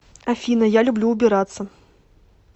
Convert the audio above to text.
афина я люблю убираться